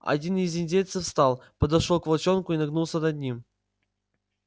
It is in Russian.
один из индейцев встал подошёл к волчонку и нагнулся над ним